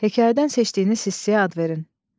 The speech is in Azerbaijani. Hekayədən seçdiyiniz hissəyə ad verin.